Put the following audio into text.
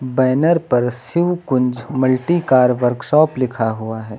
Banner पर Shiv Kunj multi car workshop लिखा हुआ है।